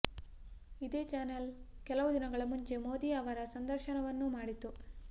ಇದೇ ಚಾನೆಲ್ ಕೆಲವು ದಿನಗಳ ಮುಂಚೆ ಮೋದಿ ಅವರ ಸಂದರ್ಶನವನ್ನೂ ಮಾಡಿತು